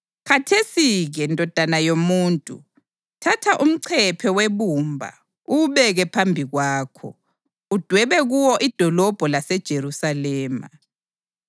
“Khathesi-ke, ndodana yomuntu, thatha umcephe webumba uwubeke phambi kwakho, udwebe kuwo idolobho laseJerusalema.